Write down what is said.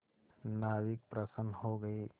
नाविक प्रसन्न हो गए